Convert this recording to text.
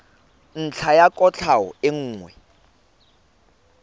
ntlha ya kwatlhao e nngwe